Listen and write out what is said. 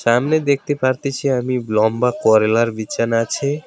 সামনে দেখতে পারতেছি আমি লম্বা করেলার বিছানা আছে।